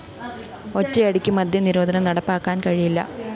ഒറ്റയടിക്ക് മദ്യനിരോധനം നടപ്പാക്കാന്‍ കഴിയില്ല